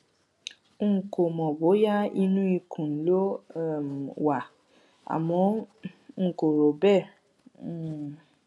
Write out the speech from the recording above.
n kò mọ bóyá inú ikùn ló um wà um àmọ n kò rò bẹẹ um